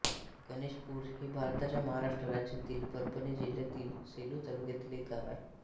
गणेशपूर हे भारताच्या महाराष्ट्र राज्यातील परभणी जिल्ह्यातील सेलू तालुक्यातील एक गाव आहे